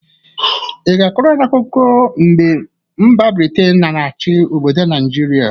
Ị ga-akọrọ anyị akụkụ mgbe mba Britin nara achị obodo Naịjịrịa?